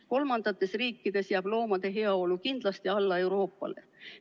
Kolmandates riikides jääb loomade heaolu kindlasti Euroopa omale alla.